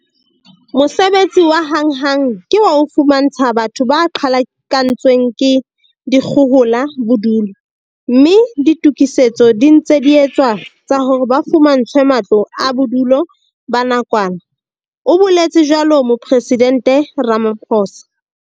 "Mosebetsi wa hanghang ke wa ho fumantsha batho ba qhalakantswe ng ke dikgohola bodulo, mme ditokisetso di ntse di etswa tsa hore ba fumantshwe matlo a bodulo ba nakwana", o boletse jwalo Mopresidente Ramaphosa.